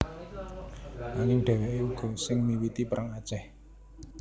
Anging dhèwèké uga sing miwiti Perang Aceh